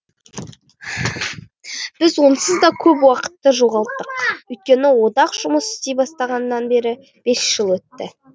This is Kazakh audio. біз онсыз да көп уақытты жоғалттық өйткені одақ жұмыс істей бастағаннан бері бес жыл өтті